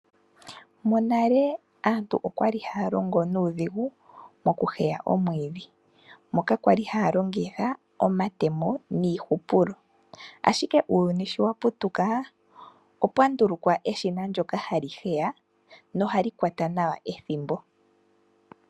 Monale aantu oyali haya longo nuudhigu oku heya omwiidhi moka yali haya longitha omatemo niihupulo ashike uuyuni sho wa putuka, opwa ndulukwa eshina ndoka hali heya nohali kwata nawa ethimbo.